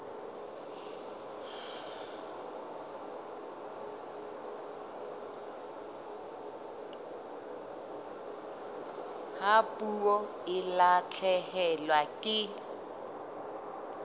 ha puo e lahlehelwa ke